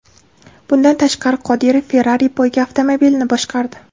Bundan tashqari, Qodirov Ferrari poyga avtomobilini boshqardi.